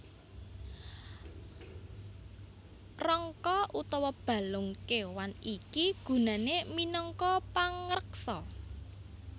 Rangka utawa balung kéwan iki gunané minangka pangreksa